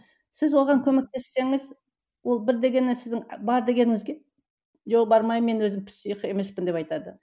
сіз оған көмектессеңіз ол бір дегеннен сіздің бар дегеніңізге жоқ бармаймын мен өзім псих емеспін деп айтады